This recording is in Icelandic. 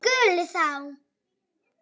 SKÚLI: Þá?